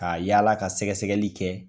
Ka yaala ka sɛgɛsɛgɛli kɛ.